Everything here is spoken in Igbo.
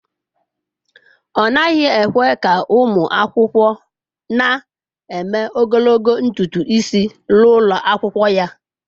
Ọ naghị ekwe ka ụmụ akwụkwọ na-eme ogologo ntutu isi n'ụlọ akwụkwọ ya.